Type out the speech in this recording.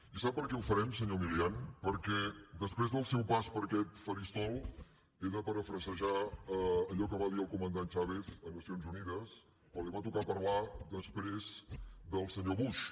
i sap per què ho farem senyor milián perquè després del seu pas per aquest faristol he de parafrasejar allò que va dir el comandant chávez a nacions unides quan li va tocar parlar després del senyor bush